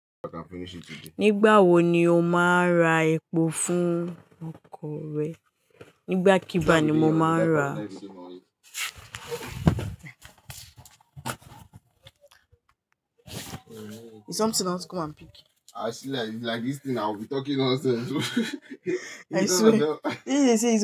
Nígbà wo ni o máa ra epo fún ọkọ̀ rẹ? Nígbà kígbá ni mo máa n ra Is something else come and pick. I see like, like this thing I will be talking nonsense. I swear.